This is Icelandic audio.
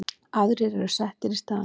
Aðrir eru settir í staðinn.